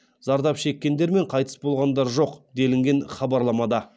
зардап шеккендер мен қайтыс болғандар жоқ делінген хабарламада